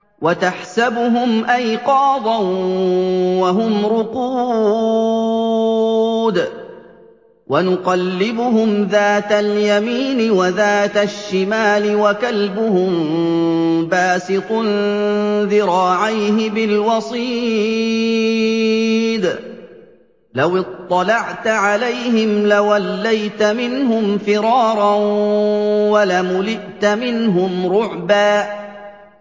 وَتَحْسَبُهُمْ أَيْقَاظًا وَهُمْ رُقُودٌ ۚ وَنُقَلِّبُهُمْ ذَاتَ الْيَمِينِ وَذَاتَ الشِّمَالِ ۖ وَكَلْبُهُم بَاسِطٌ ذِرَاعَيْهِ بِالْوَصِيدِ ۚ لَوِ اطَّلَعْتَ عَلَيْهِمْ لَوَلَّيْتَ مِنْهُمْ فِرَارًا وَلَمُلِئْتَ مِنْهُمْ رُعْبًا